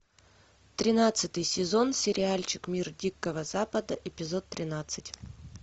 тринадцатый сезон сериальчик мир дикого запада эпизод тринадцать